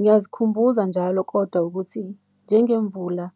Ngiyazikhumbula njalo kodwa ukuthi njengemvula .